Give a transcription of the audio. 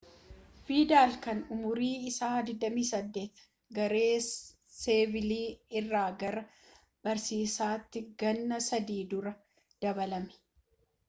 vidal kan umuriin isaa 28 garee seviilaa irraa gara baarsaatti ganna sadii dura dabalame